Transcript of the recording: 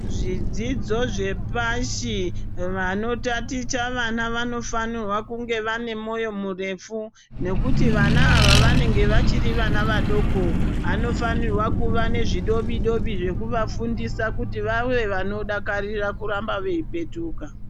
Zvidzidzo zvepashi vano taticha vana vano fanirwa kunge vane moyo murefu nekuti vana ava vanenge vachiri vana vadoko vano fanirwa kuva nezvi dobi dobi zveku vafundisa kuti vave vano dakarira kuramba vei petuka.